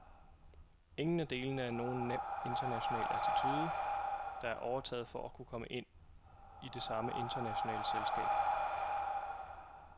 Ingen af delene er nogen nem international attitude, der er overtaget for at kunne ind i det samme internationale selskab.